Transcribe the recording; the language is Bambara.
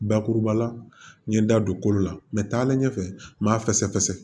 Bakuruba la n ye n da don kolo la mɛ taalen ɲɛfɛ n m'a fɛsɛ fɛ